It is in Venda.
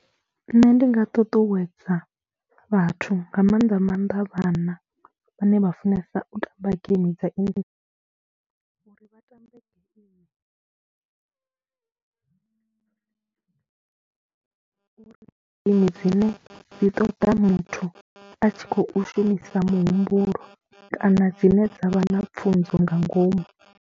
Nṋe ndi nga ṱuṱuwedza vhathu nga maanḓa maanḓa vhana vhane vha funesa u tamba game dza inthanethe uri vha tambe geimi uri dzine dzi ṱoḓa muthu a tshi khou shumisa muhumbulo kana dzine dza vha na pfhunzo nga ngomu.